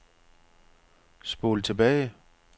spol tilbage